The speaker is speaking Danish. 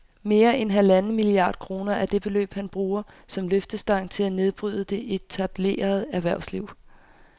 Mere end halvanden milliard kroner er det beløb, han bruger som løftestang til at nedbryde det etablerede erhvervsliv